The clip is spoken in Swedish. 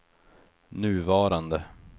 nuvarande